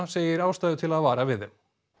segir ástæðu til að vara við þeim